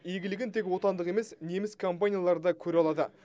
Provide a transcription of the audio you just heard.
игілігін тек отандық емес неміс компаниялары да көре алады